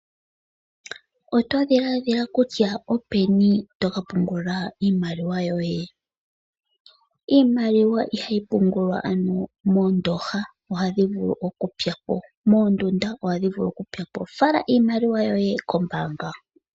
Oto dhiladhila kutya openi toka pungula iimaliwa yoye? Iimaliwa iha yi pungulwa moondoha ohadhi vulu okupya po, mondunda ohadhi vulu okupya po, fala iimaliwa yoye kombanga.